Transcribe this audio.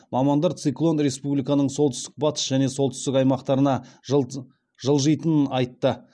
мамандар циклон республиканың солтүстік батыс және солтүстік аймақтарына жылжитынын айтты